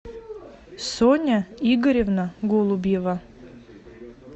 соня игоревна голубева